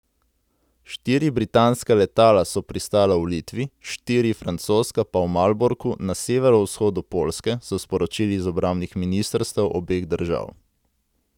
Štiri britanska letala so pristala v Litvi, štiri francoska pa v Malborku na severovzhodu Poljske, so sporočili iz obrambnih ministrstev obeh držav.